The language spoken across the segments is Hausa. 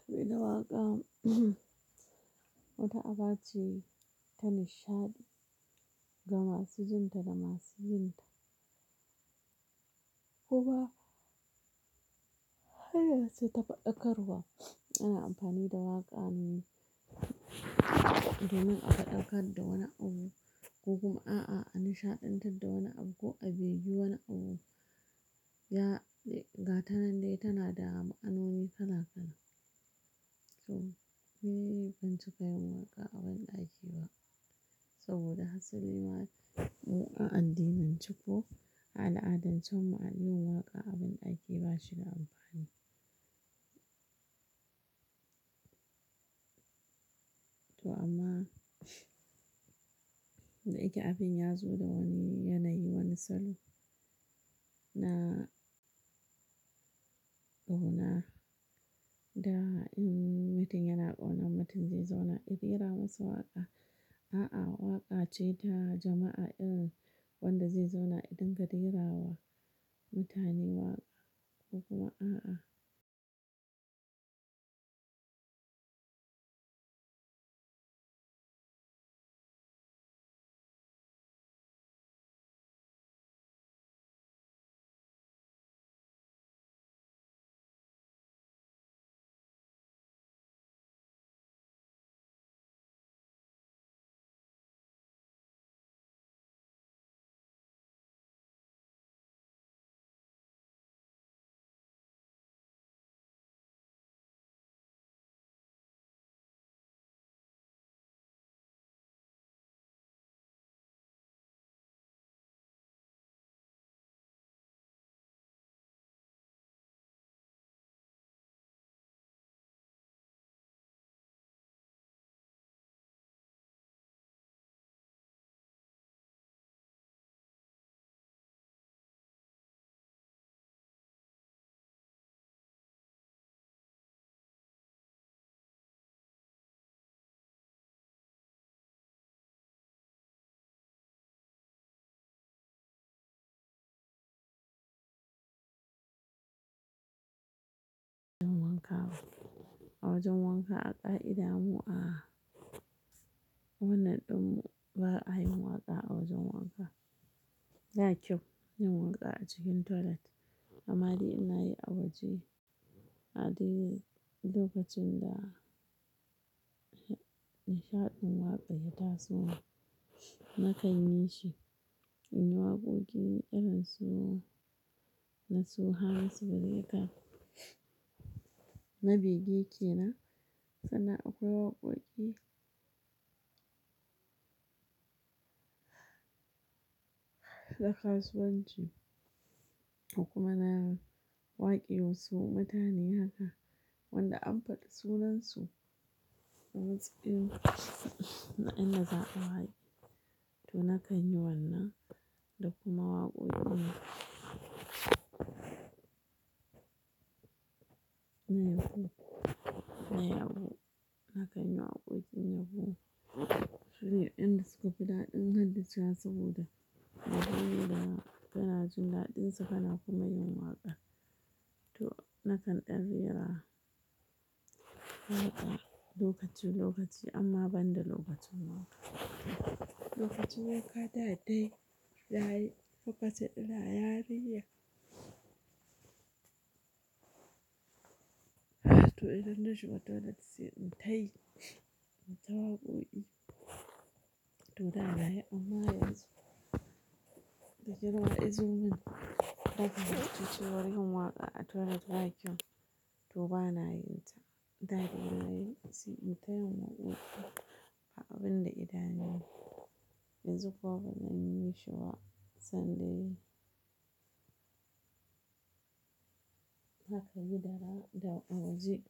To me da waƙa, wata aba ce ta nishaɗi, gama su jin ta da ma su yin ta. Ko ba, haye sai ta faɗakarwa. Ana amfani da waƙa ne domin a faɗakar da wani abu ko kuma a a nishaɗantar da wani abu ko a begi wani abu. Ya-- ga ta nan dai tana da ma'anoni kala kala. So, ni ban cika yin waƙa a banɗaki ba saboda hasali nema a andimin ciko. A al'adance ma a yi waƙa a banɗaki ba shi da amfani. To amma da ake abin ya zo da wani yanayi, wani salo na ƙauna da mutum yana ƙaunar mutum zai zauna, fera masa waƙa. A'a, waƙa ce ta jama'a irin wanda zai zauna idun ga rera wa mutane waƙa ko kuma a a. A wajen wanka aƙa'ida mu a wannan ɗin mu ba a yin waƙa a wajen wanka. Ba kyau yin waƙa a cikin toilet. Amma dai ina yi a waje. A dai lokacin da nishaɗin waƙa ya taso, na kai ni shi. In yi waƙoƙi irin su na su Hamisu breaker, na Bege Kenan, sannan akwai waƙoƙi na kasuwanci. Da kuma na waƙe wasu mutane haka wanda an faɗi sunansu a matsiƙin na inda za a ba yi. To na kan yi wannan da kuma waƙoƙi na yabo. Na kan yi waƙoƙin yabo. Rere inda suka fi daɗi na haddacewa saboda abu ne da kanaji daɗinsu kana kuma yin waƙa. To na kan ɗan rera a'a lokaci lokaci amma ban da lokacin wanka. Lokacin wanka daɗai, daɗai, lokacin ina yarinya. To idan na shiga toilet sai in tayi, in ta waƙoƙi. To da na yi amma yanzu, da girma izomin haka na fahimci cewa yin waƙa a toilet ba kyau. To ba na yinta. Da dai na yi, sai in tayi waƙoƙi a abin da ina yi. Yanzu ko ban yi shi ba sanda yi. Haka yi da ra da waje.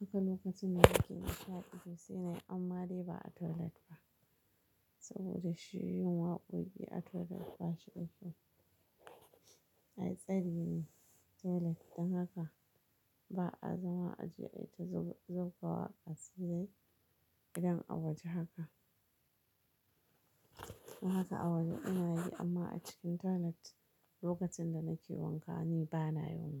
Haka lokacin da nake nishaɗi sai dai amma dai ba a toilet ba saboda shi yin waƙoƙi a toilet ba shi da kyau. Ai tsari ne toilet don haka ba'a zama a ji aita zuba waƙa a sirri idan a waje haka. To haka a waje ina yi amma a cikin toilet lokacin da nake wanka ni ba na yin waƙa.